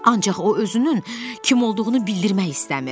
Ancaq o özünün kim olduğunu bildirmək istəmir.